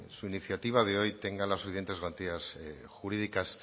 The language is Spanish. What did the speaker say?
su iniciativa de hoy tenga las suficientes garantías jurídicas